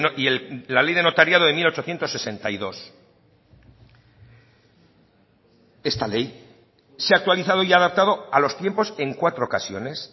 y la ley de notariado de mil ochocientos sesenta y dos esta ley se ha actualizado y adaptado a los tiempos en cuatro ocasiones